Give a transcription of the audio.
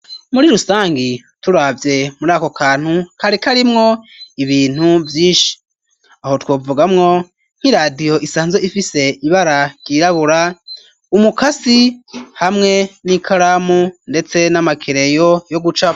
Muri rusangi turavye muri ako kantu kariko arimwo ibintu vyinshi aho twovugamwo nk'iradiho isanzwe ifise ibara ryirabura umukasi hamwe n'i karamu, ndetse n'amakereyo yo guca.